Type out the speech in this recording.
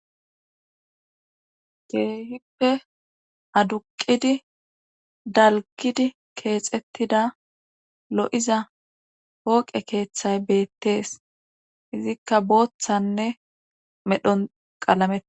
Keehippe aduqidi dalgidi keexettida lo7iza pooqe keeththay beettees izikka booththanne medhon qalamete.